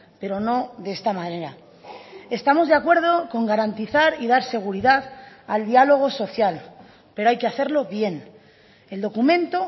pero no de esta manera estamos de acuerdo con garantizar y dar seguridad al diálogo social pero hay que hacerlo bien el documento